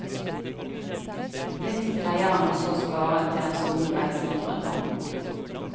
Litt greier han også å spare til den store reisen han drømmer om.